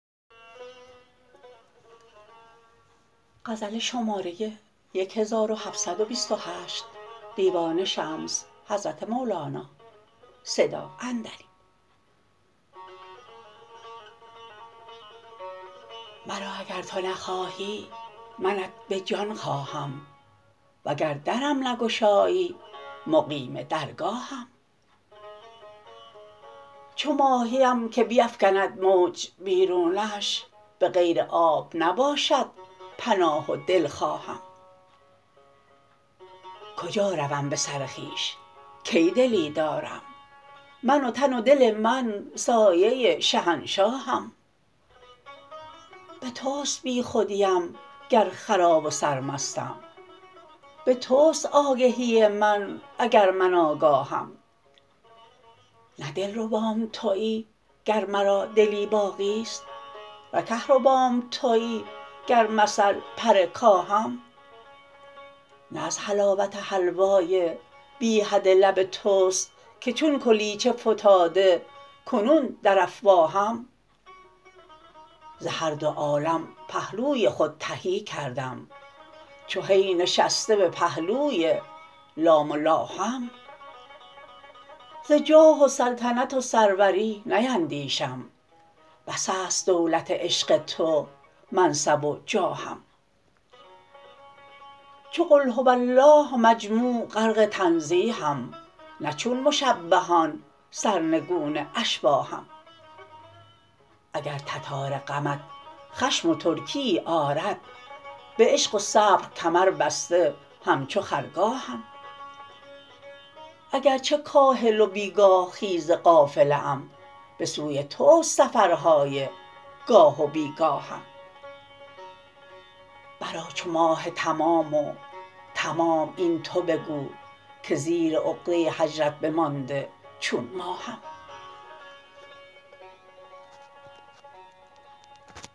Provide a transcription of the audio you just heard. مرا اگر تو نخواهی منت به جان خواهم وگر درم نگشایی مقیم درگاهم چو ماهیم که بیفکند موج بیرونش به غیر آب نباشد پناه و دلخواهم کجا روم به سر خویش کی دلی دارم من و تن و دل من سایه شهنشاهم به توست بیخودیم گر خراب و سرمستم به توست آگهی من اگر من آگاهم نه دلربام توی گر مرا دلی باقی است نه کهربام توی گر مثل پر کاهم نه از حلاوت حلوای بی حد لب توست که چون کلیچه فتاده کنون در افواهم ز هر دو عالم پهلوی خود تهی کردم چو هی نشسته به پهلوی لام اللهم ز جاه و سلطنت و سروری نیندیشم بس است دولت عشق تو منصب و جاهم چو قل هو الله مجموع غرق تنزیهم نه چون مشبهیان سرنگون اشباهم اگر تتار غمت خشم و ترکیی آرد به عشق و صبر کمربسته همچو خرگاهم اگر چه کاهل و بی گاه خیز قافله ام به سوی توست سفرهای گاه و بی گاهم برآ چو ماه تمام و تمام این تو بگو که زیر عقده هجرت بمانده چون ماهم